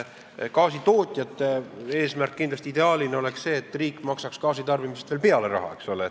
Gaasitootjate eesmärk ideaalina oleks kindlasti see, et riik maksaks gaasitarbimisele veel raha peale.